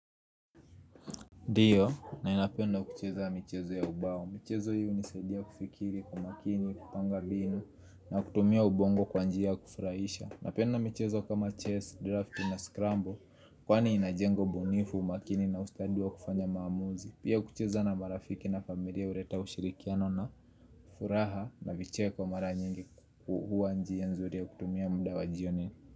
Dio, ninapenda kucheza michezo ya ubao. Michezo hii nisedia kufikiri, kwa umakini, kupanga binu, na kutumia ubongo kwa njia kufurahisha. Napenda michezo kama chess, draft na scramble, kwani inajengo bunifu, makini na ustadi wa kufanya maamuzi. Pia ukicheza na marafiki na familia hureta ushirikiano na furaha na vicheko mara nyingi ku huwa njia nzuri ya kutumia mda wa jioni.